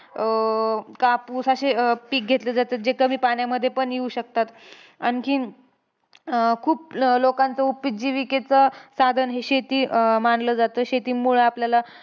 अं कापूस अशे अं पिक घेतले जातात. जे कमी पाण्यामध्ये पण येऊ शकतात. आणखीन अं खूप लोकांचं उपजीविकेचं साधन हे शेती अं मानलं जातं. शेतीमुळं आपल्याला,